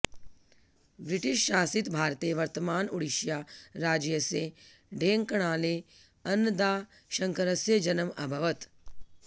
ब्रिटिशशासित भारते वर्तमान उडिष्या राज्यस्य ढेङ्कानले अन्नदाशङ्करस्य जन्म अभवत्